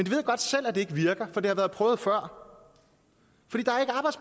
ved godt selv at det ikke virker for det har været prøvet før